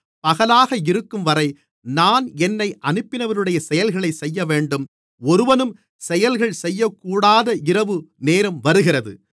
பகலாக இருக்கும்வரை நான் என்னை அனுப்பினவருடைய செயல்களைச் செய்யவேண்டும் ஒருவனும் செயல்கள் செய்யக்கூடாத இரவு நேரம் வருகிறது